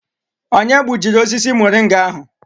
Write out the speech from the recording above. Onye gbujiri osisi muringa ahụ?